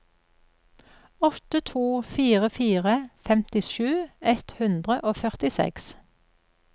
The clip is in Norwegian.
åtte to fire fire femtisju ett hundre og førtiseks